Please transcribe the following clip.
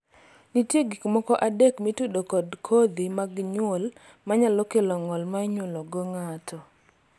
nitie gik moko adek mitudo kod kodhi mag nyuol manyalo kelo ng'ol ma inyuolo go ng'ato